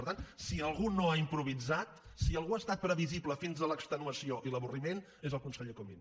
per tant si algú no ha improvisat si algú ha estat previsible fins a l’extenuació i l’avorriment és el conseller comín